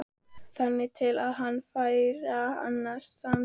Þangað til hann fær annan samastað